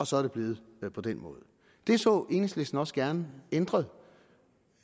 så er blevet på den måde det så enhedslisten også gerne ændret